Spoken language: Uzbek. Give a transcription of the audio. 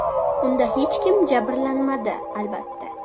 Unda hech kim jabrlanmadi, albatta.